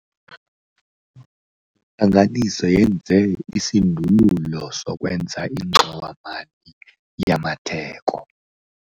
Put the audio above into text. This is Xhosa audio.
Intlanganiso yenze isindululo sokwenza ingxowa-mali yamatheko.